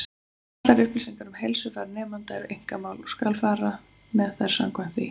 Allar upplýsingar um heilsufar nemenda eru einkamál, og skal fara með þær samkvæmt því.